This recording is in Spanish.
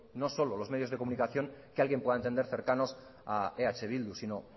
no solo los medios de comunicación que alguien pueda entender cercanos a eh bildu sino